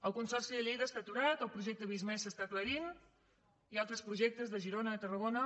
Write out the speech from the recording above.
el consorci de lleida està aturat el projecte visc+ s’està aclarint i altres projecte de girona tarragona